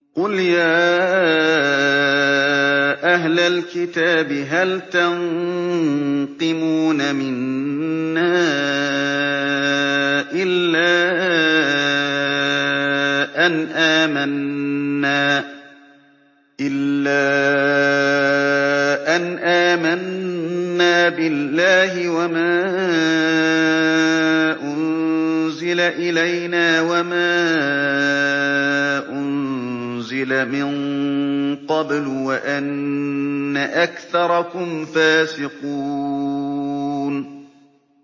قُلْ يَا أَهْلَ الْكِتَابِ هَلْ تَنقِمُونَ مِنَّا إِلَّا أَنْ آمَنَّا بِاللَّهِ وَمَا أُنزِلَ إِلَيْنَا وَمَا أُنزِلَ مِن قَبْلُ وَأَنَّ أَكْثَرَكُمْ فَاسِقُونَ